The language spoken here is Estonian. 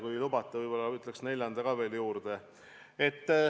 Kui lubate, siis võib-olla ütlen ka neljanda veel juurde.